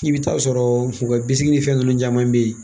I bɛ taa sɔrɔ u ka bisigi ni fɛn ninnu caman bɛ ye